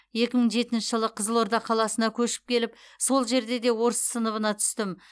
екі мың жетінші жылы қызылорда қаласына көшіп келіп сол жерде де орыс сыныбына түстім